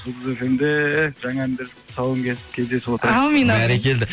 жұлдыз фмде жаңа әндердің тұсауын кесіп кездесіп отырайық әумин бәрекелді